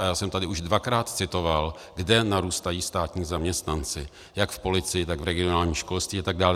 A já jsem tady už dvakrát citoval, kde narůstají státní zaměstnanci - jak v policii, tak v regionálním školství atd.